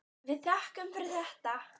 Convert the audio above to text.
Við þökkum fyrir þetta.